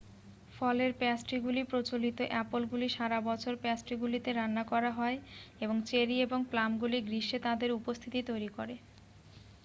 ফলের প্যাস্ট্রিগুলি প্রচলিত আপেলগুলি সারা বছর প্যাস্ট্রিগুলিতে রান্না করা হয় এবং চেরি এবং প্লামগুলি গ্রীষ্মে তাদের উপস্থিতি তৈরি করে